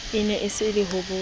ne a se a hobotse